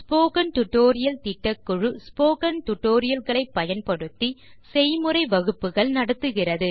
spoken tutorial திட்டக்குழு spoken tutorial களை பயன்படுத்தி செய்முறை வகுப்புகள் நடத்துகிறது